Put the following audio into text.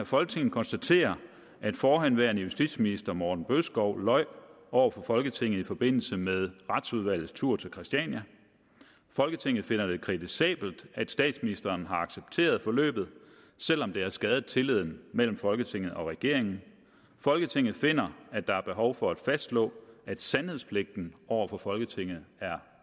folketinget konstaterer at forhenværende justitsminister morten bødskov løj over for folketinget i forbindelse med retsudvalgets tur til christiania folketinget finder det kritisabelt at statsministeren har accepteret forløbet selv om det har skadet tilliden mellem folketinget og regeringen folketinget finder at der er behov for at fastslå at sandhedspligten over for folketinget er